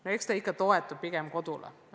No eks see toetub ikka pigem kodule.